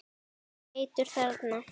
Heitur þarna.